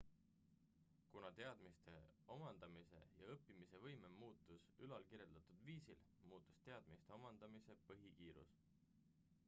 kuna teadmiste omandamise ja õppimise võime muutus ülalkirjeldatud viisil muutus teadmiste omandamise põhikiirus